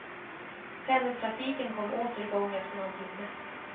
Pendeltrafiken kom åter i gång efter någon timme.